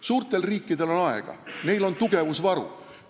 Suurtel riikidel on aega, neil on tugevusvaru.